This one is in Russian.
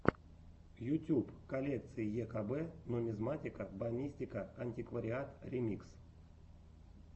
ютюб коллекции екб нумизматика бонистика антиквариат ремикс